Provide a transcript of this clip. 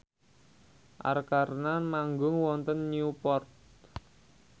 Arkarna manggung wonten Newport